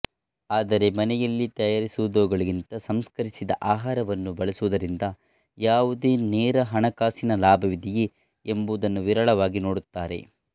ಆದರೆ ಮನೆಯಲ್ಲಿ ತಯಾರಿಸಿದವುಗಳಿಗಿಂತ ಸಂಸ್ಕರಿಸಿದ ಆಹಾರವನ್ನು ಬಳಸುವುದರಿಂದ ಯಾವುದೇ ನೇರ ಹಣಕಾಸಿನ ಲಾಭವಿದೆಯೇ ಎಂಬುದನ್ನು ವಿರಳವಾಗಿ ನೋಡುತ್ತಾರೆ